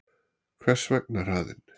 Hvers vegna hraðinn?